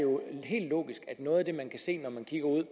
helt logisk at noget af det man kan se når man kigger ud